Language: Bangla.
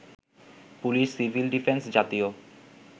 পুলিশ, সিভিল ডিফেন্স, জাতীয়